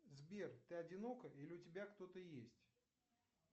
сбер ты одинока или у тебя кто то есть